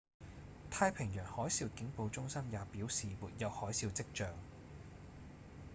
太平洋海嘯警報中心也表示沒有海嘯跡象